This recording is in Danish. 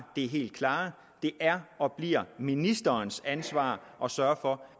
det helt klare at det er og bliver ministerens ansvar at sørge for